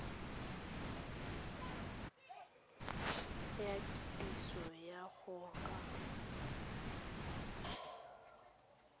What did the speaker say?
la kitsiso go ya ka